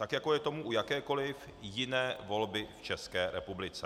Tak jako je tomu u jakékoli jiné volby v České republice.